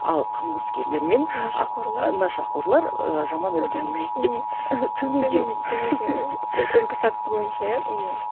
ал қылмыскерлер мен нашақорлар нашақорлар ыыы жаман үлгі емес деп үлгі сатысы бойынша иә